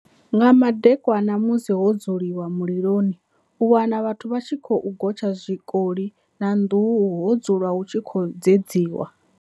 Nga madekwana musi ho dzulwa mililoni u wana vhathu vha tshi khou gotsha zwikoli na nduhu ho dzulwa hu tshi khou dzedziwa.